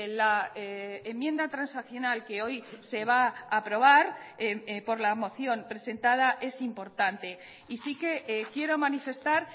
la enmienda transaccional que hoy se va a aprobar por la moción presentada es importante y sí que quiero manifestar